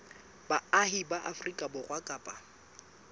baahi ba afrika borwa kapa